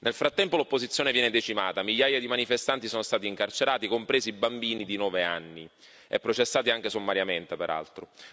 Nel frattempo l'opposizione viene decimata migliaia di manifestanti sono stati incarcerati, compresi bambini di nove anni, e processati anche sommariamente, peraltro.